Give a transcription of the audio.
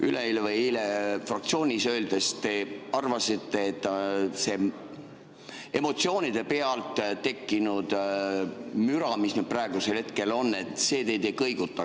Üleeile või eile fraktsioonis olles te arvasite, et see emotsioonide pealt tekkinud müra, mis praegusel hetkel on, teid ei kõiguta.